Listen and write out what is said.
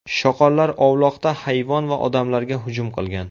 Shoqollar ovloqda hayvon va odamlarga hujum qilgan.